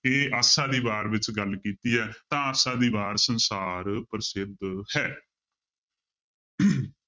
ਇਹ ਆਸਾ ਦੀ ਵਾਰ ਵਿੱਚ ਗੱਲ ਕੀਤੀ ਹੈ ਤਾਂ ਆਸਾ ਦੀ ਵਾਰ ਸੰਸਾਰ ਪ੍ਰਸਿੱਧ ਹੈ